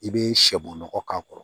I bɛ sɛbunɔgɔ k'a kɔrɔ